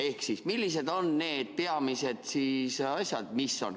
Ehk siis, millised on need peamised asjad,?